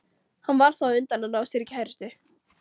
Hann varð þá á undan að ná sér í kærustu.